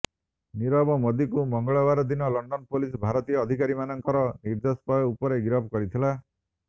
ନୀରବ ମୋଦୀକୁ ମଙ୍ଗଳବାରଦିନ London police ଭାରତୀୟ ଅଧିକାରୀମାନଙ୍କର ନିର୍ଦେଶ ଉପରେ ଗିରଫ କରିଥିଲା